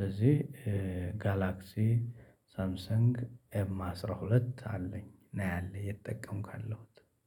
ለዚህ ጋላክሲ ሳምሰንግ ኤም አስራ ሁለት አለኝ። ነው ያለኝ እየተጠቀምኩ ያለሁት።